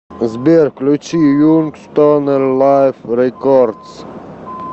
сбер включи юнг стонер лайф рекордс